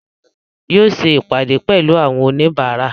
Yóò ṣe ìpàdé pẹ̀lú àwọn oníbàárà